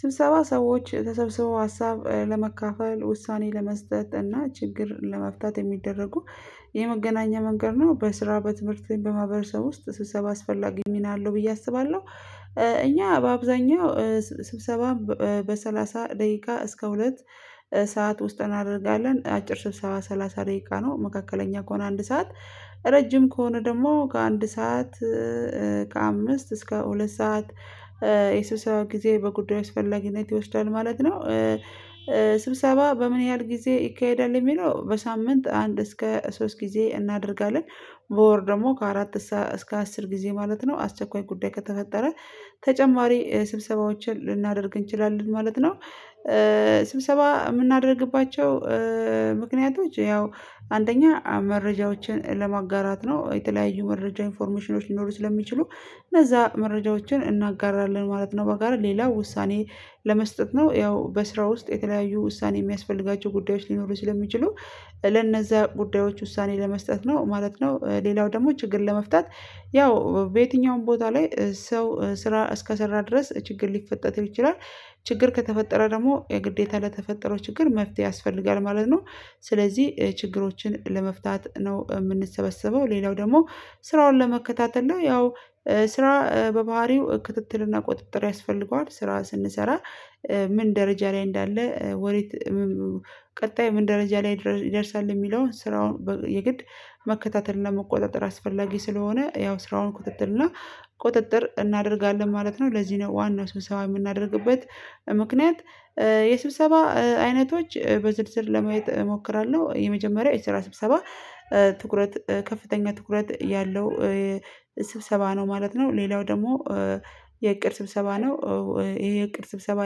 ስብሰባ ሰዎች ተሰብስበው ሀሳብ ለመካፈል ውሳኔ ለመስጠት እና ችግር ለመፍታት የሚደረጉ የመገናኛ መንገድ ነው። በስራ በትምህርት በማህበረሰብ ውስጥ ስብሰባ አስፈላጊ ሚና አለው ብዬ አስባለሁ። እኛ በአብዛኛው ስብሰባም በሰላሳ ደቂቃ እስከ ሁለት ሰዓት ውስጥ እናደርጋለን አጭር ስብሰባ ሰላሳ ደቂቃ ነው። መካከለኛ ከሆነ አንድ ሰዓት ረጅም ከሆነ ደግሞ ከአንድ ሰዓት ከአምስት እስከ ሁለት ሰዓት የስብሰባ ጊዜ በጉዳዩ አስፈለጊነት ይወስዳል ማለት ነው። ስብሰባ በምን ያህል ጊዜ ይካሄዳል የሚለው በሳምንት አንድ እስከ ሶስት ጊዜ እናደርጋለን በወር ደግሞ ከአራት እስከ አስር ጊዜ ማለት ነው። አስቸኳይ ጉዳይ ከተፈጠረ ተጨማሪ ስብሰባዎችን ልናደርግ እንችላለን ማለት ነው። ስብሰባ የምናደርግባቸው ምክንያቶች ያው አንደኛ መረጃዎችን ለማጋራት ነው የተለያዩ መረጃ ኢንፎርሜሽኖች ሊኖሩ ስለሚችሉ እነዛ መረጃዎችን እናጋራለን ማለት ነው። በጋራ ሌላ ውሳኔ ለመስጠት ነው። ያው በስራ ውስጥ የተለያዩ ውሳኔ የሚያስፈልጋቸው ጉዳዮች ሊኖሩ ስለሚችሉ ለነዛ ጉዳዮች ውሳኔ ለመስጠት ነው ማለት ነው። ሌላው ደግሞ ችግር ለመፍታት ያው በየትኛውም ቦታ ላይ ሰው ስራ እስከሰራ ድረስ ችግር ሊፈጠር ይችላል። ችግር ከተፈጠረ ደግሞ የግዴታ ለተፈጠረው ችግር መፍትሄ ያስፈልጋል ማለት ነው። ስለዚህ ችግሮችን ለመፍታት ነው የምንሰበሰበው። ሌላው ደግሞ ስራውን ለመከታተል ነው። ያው ስራ በባህሪው ክትትል እና ቁጥጥር ያስፈልገዋል ስራ ስንሰራ ምን ደረጃ ላይ እንዳለ ወዴት ቀጣይ ምን ደረጃ ላይ ይደርሳል የሚለውን ስራውን የግድ መከታተል እና መቆጣጠር አስፈላጊ ስለሆነ ያው ስራውን ክትትል እና ቁጥጥር እናደርጋለን ማለት ነው። ለዚህ ነው ዋናው ስብሰባ የምናደርግበት ምክንያት። የስብሰባ አይነቶች በዝርዝር ለማየት እሞክራለሁ የመጀመሪያው የስራ ስብሰባ ትኩረት ከፍተኛ ትኩረት ያለው ስብሰባ ነው ማለት ነው። ሌላው ደግሞ የእቅድ ስብሰባ ነው። ይሄ የእቅድ ስብሰባ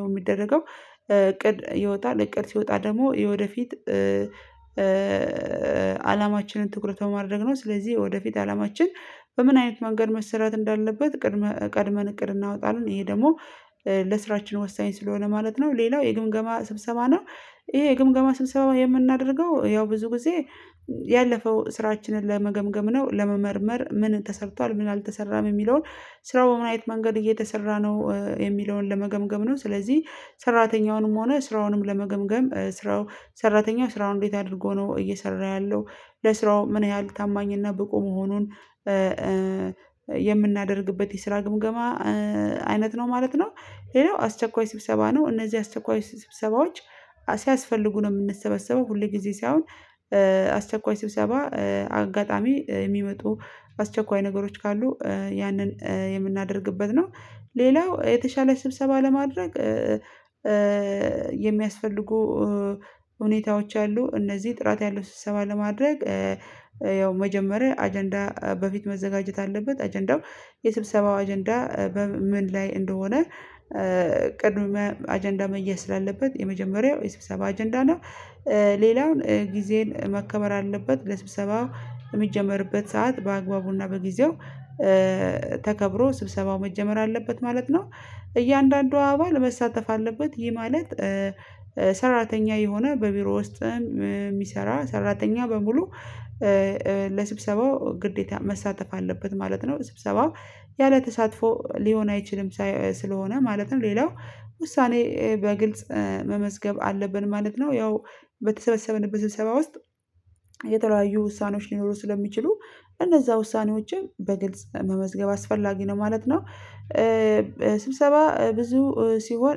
የሚደረገው እቅድ ይወጣል እቅድ ሲወጣ ደግሞ የወደፊት አላማችንን ትኩረት በማድረግ ነው። ስለዚህ ወደፊት አላማችን በምን አይነት መንገድ መሰራት እንዳለበት ቅድመ ቀድመን እቅድ እናወጣለን ይሄ ደግሞ ለስራችን ወሳኝ ስለሆነ ማለት ነው። ሌላው የግምገማ ስብሰባ ነው። ይሄ የግምገማ ስብሰባ የምናደርገው ያው ብዙ ጊዜ ያለፈው ስራችንን ለመገምገም ነው ለመመርመር ምን ተሰርቷል ምን አልተሰራም የሚለውን ስራው በምን አይነት መንገድ እየተሰራ ነው የሚለውን ለመገምገም ነው። ስለዚህ ሰራተኛውንም ሆነ ስራውንም ለመገምገም ስራው ሰራተኛው ስራውን እንዴት አድርጎ ነው እየሰራ ያለው? ለስራው ምን ያህል ታማኝ እና ብቁ መሆኑን የምናደርግበት የስራ ግምገማ አይነት ነው ማለት ነው። ሌላው አስቸኳይ ስብሰባ ነው። እነዚህ አስቸኳይ ስብሰባዎች ሲያስፈልጉ ነው የምንሰበሰበው ሁልጊዜ ሳይሆን አስቸኳይ ስብሰባ አጋጣሚ የሚመጡ አስቸኳይ ነገሮች ካሉ ያንን የምናደርግበት ነው። ሌላው የተሻለ ስብሰባ ለማድረግ የሚያስፈልጉ ሁኔታዎች አሉ። እነዚህ ጥራት ያለው ስብሰባ ለማድረግ ያው መጀመሪያ አጀንዳ በፊት መዘጋጀት አለበት። አጀንዳው የስብሰባው አጀንዳ በምን ላይ እንደሆነ ቅድመ አጀንዳ መያዝ ስላለበት የመጀመሪያው የስብሰባ አጀንዳ ነው። ሌላውን ጊዜን መከበር አለበት ለስብሰባው የሚጀመርበት ሰዓት በአግባቡና በጊዜው ተከብሮ ስብሰባው መጀመር አለበት ማለት ነው። እያንዳንዱ አባል መሳተፍ አለበት። ይህ ማለት ሰራተኛ የሆነ በቢሮ ውስጥም የሚሰራ ሰራተኛ በሙሉ ለስብሰባው ግዴታ መሳተፍ አለበት ማለት ነው። ስብሰባው ያለተሳትፎ ሊሆን አይችልም። ሳይ ስለሆነ ማለትም ሌላው ውሳኔ በግልጽ መመዝገብ አለብን ማለት ነው። ያው በተሰበሰብንበት ስብሰባ ውስጥ የተለያዩ ውሳኔዎች ሊኖሩ ስለሚችሉ እነዛ ውሳኔዎችን በግልጽ መመዝገብ አስፈላጊ ነው ማለት ነው። ስብሰባ ብዙ ሲሆን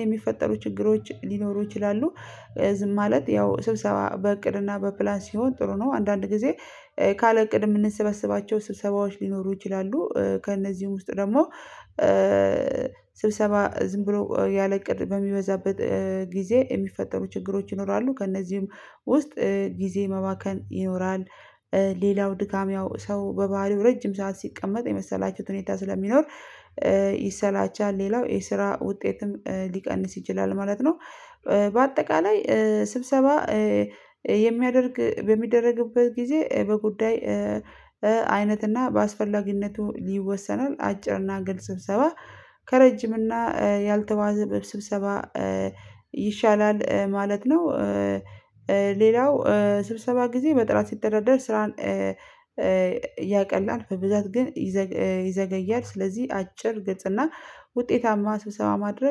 የሚፈጠሩ ችግሮች ሊኖሩ ይችላሉ። ዝም ማለት ያው ስብሰባ በእቅድ እና በፕላን ሲሆን ጥሩ ነው። አንዳንድ ጊዜ ካለ እቅድ የምንሰበሰባቸው ስብሰባዎች ሊኖሩ ይችላሉ። ከእነዚህም ውስጥ ደግሞ ስብሰባ ዝም ብሎ ያለ እቅድ በሚበዛበት ጊዜ የሚፈጠሩ ችግሮች ይኖራሉ ከእነዚህም ውስጥ ጊዜ መባከን ይኖራል። ሌላው ድካም ያው ሰው በባህሪው ረጅም ሰዓት ሲቀመጥ የመሰላቸት ሁኔታ ስለሚኖር ይሰላቻል። ሌላው የስራ ውጤትም ሊቀንስ ይችላል ማለት ነው። በአጠቃላይ ስብሰባ የሚያደርግ በሚደረግበት ጊዜ በጉዳይ አይነት እና በአስፈላጊነቱ ይወሰናል። አጭር እና ግልጽ ሰብሰባ ከረጅም እና ያልተዋዘበ ስብሰባ ይሻላል ማለት ነው። ሌላው ስብሰባ ጊዜ በጥራት ሲተዳደር ስራን እ ያቀላል በብዛት ግን ይዘገያል ስለዚህ አጭር ግልጽ እና ውጤታማ ስብሰባ ማድረግ